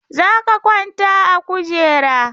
Za ka kwanta a kujera!